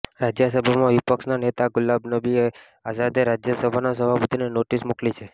રાજ્યસભામાં વિપક્ષના નેતા ગુલામનબી આઝાદે રાજ્યસભાના સભાપતિને નોટિસ મોકલી છે